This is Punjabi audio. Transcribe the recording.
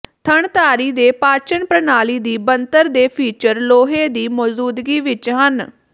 ਥਣਧਾਰੀ ਦੇ ਪਾਚਨ ਪ੍ਰਣਾਲੀ ਦੀ ਬਣਤਰ ਦੇ ਫੀਚਰ ਲੋਹੇ ਦੀ ਮੌਜੂਦਗੀ ਵਿੱਚ ਹਨ